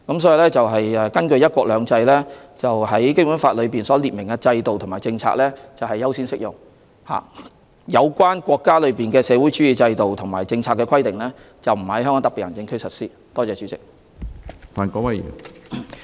所以，根據"一國兩制"，《基本法》列明的制度和政策是優先適用的，而有關國家的社會主義制度和政策的規定，是不會在香港特別行政區實施。